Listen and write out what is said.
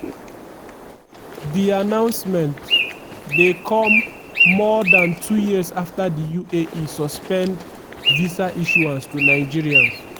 di announcement dey come more dan two years afta di uae suspend visa issuance to nigerians.